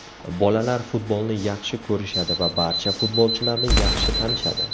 Bolalar futbolni yaxshi ko‘rishadi va barcha futbolchilarni yaxshi tanishadi.